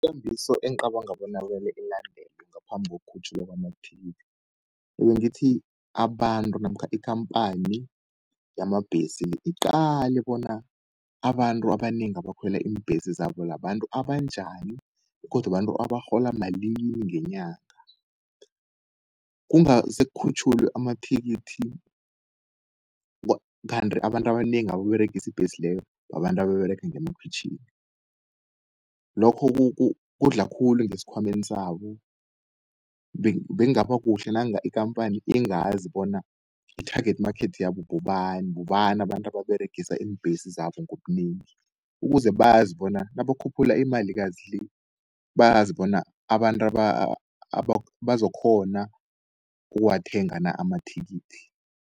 Ikambiso esicabanga bona kumele ilandelwe ngaphambi kokukhutjhulwa kwamathikithi. Ngiyengithi abantu namkha ikampani yamabhesi iqale bona abantu abanengi abakhwela iimbhesi zabo abantu njani, begodu abantu abarhola malini ngenyanga. Kungase kukhutjhulwe amathikithi kanti abantu abanengi abayiberegisi ibhesi leyo, babantu ababerega ngemakhwitjhini. Lokho kudla khulu ngeskhwameni sabo, bengaba kuhle nanga ikampani ingazi bona i-target market yabo bobani. Bobani abantu ababeregisa iimbhesi zabo ngobunengi. ukuze bazi bona nabakhuphula imali kazi le, bayazi bona abantu bazokghona ukuwathenga na amathikithi.